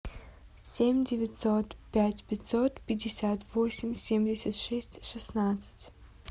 семь девятьсот пять пятьсот пятьдесят восемь семьдесят шесть шестнадцать